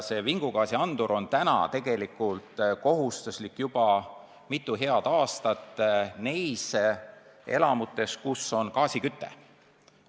Vingugaasiandur on tegelikult juba mitu head aastat kohustuslik olnud elamutes, kus on gaasiküte.